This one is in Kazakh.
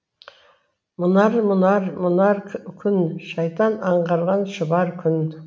мұнар мұнар мұнар күн шайтан аңғырған шұбар күн